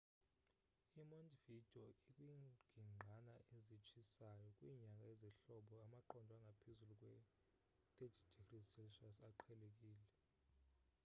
i montevideo ikwingingqana ezitshisayo; kwinyanga zehlobo amaqondo angaphezulu kwe +30°c aqhelekile